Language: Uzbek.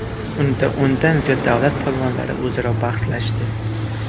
Unda o‘ndan ziyod davlat polvonlari o‘zaro bahslashdi.